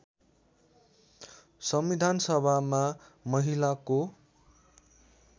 संविधान सभामा महिलाको